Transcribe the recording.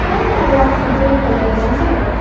उनका रंग सफेद कलर का है।